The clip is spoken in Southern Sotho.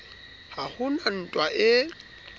ha ho na ntwa e